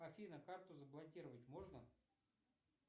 афина карту заблокировать можно